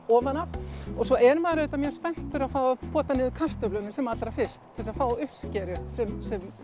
ofan af og svo er maður auðvitað mjög spenntur að fá að pota niður kartöflunum sem allra fyrst til þess að fá uppskeru sem